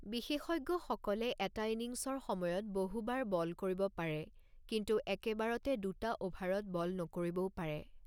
বিশেষজ্ঞসকলে এটা ইনিংচৰ সময়ত বহুবাৰ বল কৰিব পাৰে কিন্তু একেবাৰতে দুটা অ'ভাৰত বল নকৰিবও পাৰে।